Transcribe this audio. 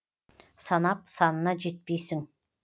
санап санына жетпейсің